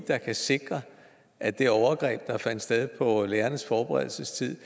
der kan sikre at det overgreb der fandt sted på lærernes forberedelsestid